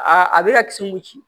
Aa a bɛ ka kisi ko ci